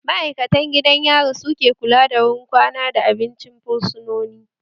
Ma'aikatan gidan yari su ke kula da wurin kwana da abincin fursunoni